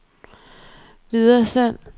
videresend